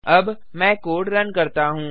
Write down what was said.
अब मैं code run करता हूँ